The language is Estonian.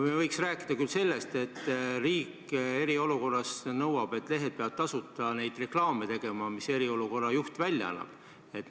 Me võiks rääkida sellest, et riik eriolukorras nõuab, et lehed peavad tasuta neid reklaame avaldama, mis eriolukorra juht välja annab.